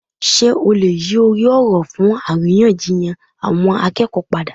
Sé o lè yí orí òrò fún àríyànjiyàn àwọn akéèkòó náà padà?